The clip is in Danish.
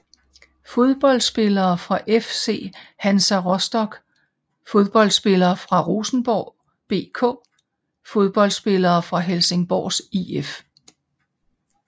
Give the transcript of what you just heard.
Fodboldspillere fra FC Hansa Rostock Fodboldspillere fra Rosenborg BK Fodboldspillere fra Helsingborgs IF